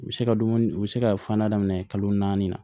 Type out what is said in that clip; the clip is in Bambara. U bɛ se ka dumuni u bɛ se ka filanan daminɛ kalo naani na